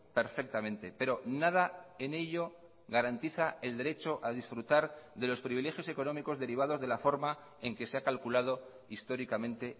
perfectamente pero nada en ello garantiza el derecho a disfrutar de los privilegios económicos derivados de la forma en que se ha calculado históricamente